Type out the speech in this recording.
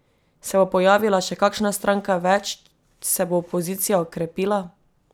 Se bo pojavila še kakšna stranka več, se bo opozicija okrepila?